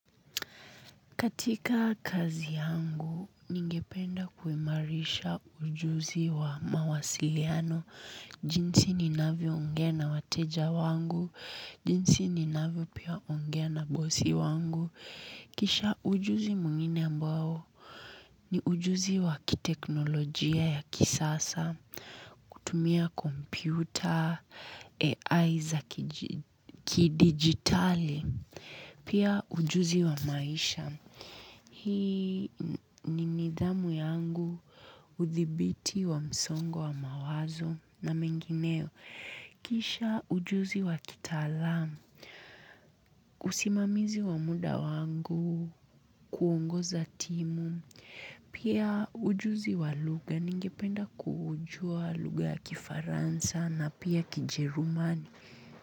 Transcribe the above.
Katika kazi yangu ningependa kuhimarisha ujuzi wa mawasiliano, jinsi ninavyo ongea na wateja wangu, jinsi nanavyo ongea na bosi wangu. Kisha ujuzi mwingine ambao ni ujuzi wa kiteknolojia ya kisasa, kutumia komputa, AI za kidigitali, pia ujuzi wa maisha. Hii ni nidhamu yangu, uthibiti wa msongo wa mawazo na mengineo. Kisha ujuzi wa kitaalamu, usimamizi wa muda wangu, kuongoza timu, pia ujuzi wa lugha, ningependa kujua lugha ya Kifaransa na pia Kijerumani.